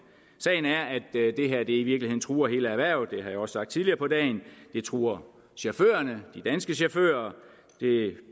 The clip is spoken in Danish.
sagen er at det her i virkeligheden truer hele erhvervet det har jeg også sagt tidligere på dagen det truer chaufførerne de danske chauffører